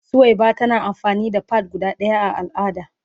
Suwaiba tana amfani da "pad" guda daya a al'ada.